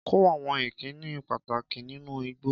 Kọ́ àwọn ìkíni pàtàkì nínú Igbo